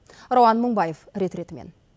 рауан мыңбаев рет ретімен